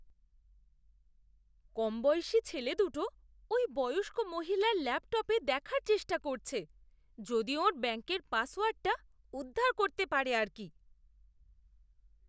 কমবয়সী ছেলে দুটো ওই বয়স্ক মহিলার ল্যাপটপে দেখার চেষ্টা করছে যদি ওঁর ব্যাঙ্কের পাসওয়ার্ডটা উদ্ধার করতে পারে আর কি!